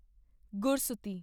ਗੁਰਸੂਤੀ